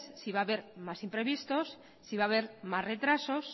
si va a haber más imprevistos si va a haber más retrasos